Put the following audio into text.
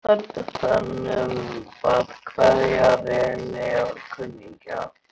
Sjálf var Lilla á þönum að kveðja vini og kunningja.